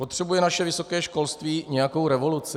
Potřebuje naše vysoké školství nějakou revoluci?